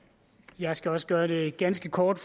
jeg skal også gøre det ganske kort